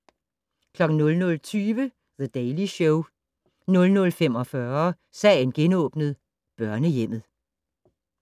00:20: The Daily Show 00:45: Sagen genåbnet : Børnehjemmet